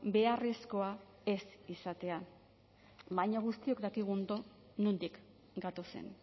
beharrezkoa ez izatea baina guztiok dakigu ondo nondik gatozen